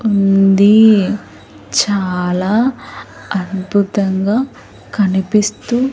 ఉంది చాలా అద్భుతంగా కనిపిస్తు--